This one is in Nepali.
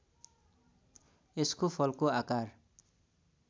यसको फलको आकार